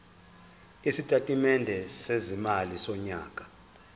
isitatimende sezimali sonyaka